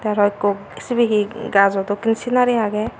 aro ekko sibe he gajo dokken scenari age.